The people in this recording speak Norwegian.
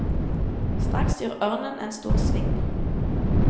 Straks gjør ørnen en stor sving.